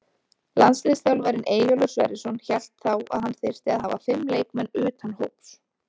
Landsliðsþjálfarinn Eyjólfur Sverrisson hélt þá að hann þyrfti að hafa fimm leikmenn utan hóps.